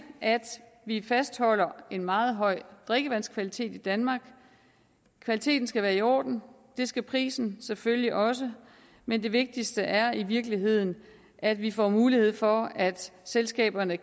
at vi fastholder en meget høj drikkevandskvalitet i danmark kvaliteten skal være i orden det skal prisen selvfølgelig også men det vigtigste er i virkeligheden at vi får mulighed for at selskaberne